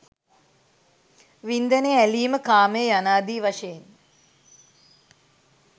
වින්දනය, ඇලීම, කාමය යනාදී වශයෙන්